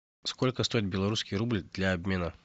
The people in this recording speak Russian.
сколько стоит белорусский рубль для обмена